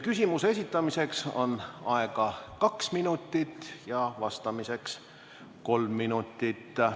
Küsimuse esitamiseks on aega kaks minutit ja vastamiseks kolm minutit.